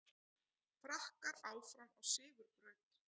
Frakkar áfram á sigurbraut